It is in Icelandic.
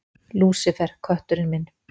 Lúsífer, kötturinn minn.